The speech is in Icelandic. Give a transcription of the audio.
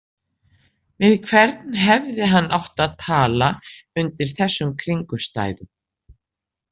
Við hvern hefði hann átt að tala undir þessum kringumstæðum?